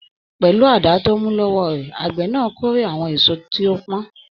Pẹlú àdá tó mú lọ́wọ́ rẹ̀, àgbẹ̀ na kórè àwọn èso tí ó pọ́n.